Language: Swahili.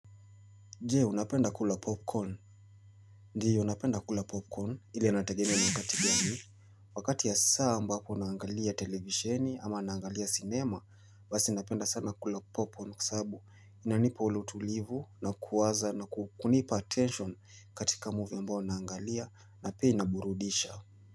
Je unapenda kula popcorn? Ndio ninapenda kula popcorn ila inategemea ni wakati gani. Wakati ya saa ambapo ninangalia televisheni ama naangalia cinema basi ninapenda sana kula popcorn kwa sabu inanipa ule utulivu na kuwaza na kunipa attention katika movie mbao naangalia na pia inaburudisha.